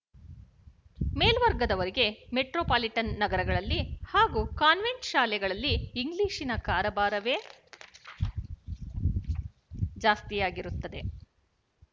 ಮೇಲ್ವರ್ಗದವರಿಗೆ metropolitan ನಗರಗಳಲ್ಲಿ ಹಾಗೂ convent ಶಾಲೆಗಳಲ್ಲಿ ಇಂಗ್ಲಿಶಿನ ಕಾರಬಾರವೇ ಜಾಸ್ತಿಯಾಗಿರುತ್ತದೆ